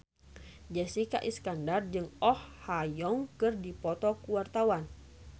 Jessica Iskandar jeung Oh Ha Young keur dipoto ku wartawan